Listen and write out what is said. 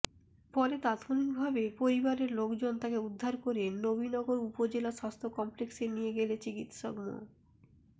পরে তাৎক্ষণিকভাবে পরিবারের লোকজন তাকে উদ্ধার করে নবীনগর উপজেলা স্বাস্থ্য কমপ্লেক্সে নিয়ে গেলে চিকিৎসক মো